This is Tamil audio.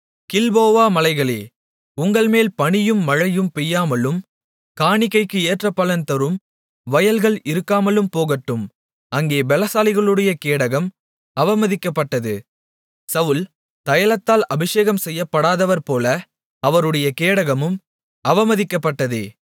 கில்போவா மலைகளே உங்கள்மேல் பனியும் மழையும் பெய்யாமலும் காணிக்கைக்கு ஏற்ற பலன் தரும் வயல்கள் இருக்காமலும் போகட்டும் அங்கே பெலசாலிகளுடைய கேடகம் அவமதிக்கப்பட்டது சவுல் தைலத்தால் அபிஷேகம் செய்யப்படாதவர்போல அவருடைய கேடகமும் அவமதிக்கப்பட்டதே